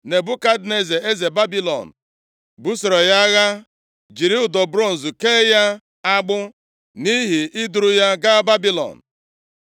Nebukadneza eze Babilọn busoro ya agha, jiri ụdọ bronz kee ya agbụ, nʼihi i duru ya gaa Babilọn.